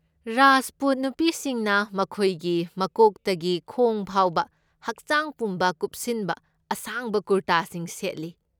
ꯔꯥꯖꯄꯨꯠ ꯅꯨꯄꯤꯁꯤꯡꯅ ꯃꯈꯣꯏꯒꯤ ꯃꯀꯣꯛꯇꯒꯤ ꯈꯣꯡ ꯐꯥꯎꯕ ꯍꯛꯆꯥꯡ ꯄꯨꯝꯕ ꯀꯨꯞꯁꯤꯟꯕ ꯑꯁꯥꯡꯕ ꯀꯨꯔꯇꯥꯁꯤꯡ ꯁꯦꯠꯂꯤ꯫